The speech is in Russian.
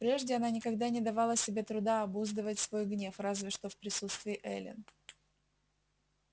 прежде она никогда не давала себе труда обуздывать свой гнев разве что в присутствии эллин